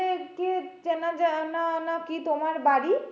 চেনাজানা না কি তোমার বাড়ি?